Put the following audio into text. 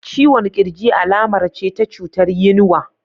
Ciwon kirji alamar ce ta cutar yinwa.